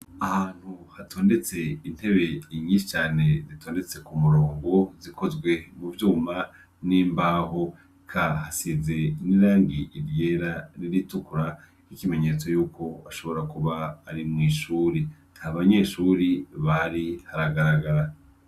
Ahantu hatondetse intebe nyinshi cane zitondetse kumurongo zikozwe muvyuma nimbaho eka hasize nirangi ryera niritukura nkikimenyetso yuko hashobora kuba ari mwishure ntabanyeshure bahari haragaragara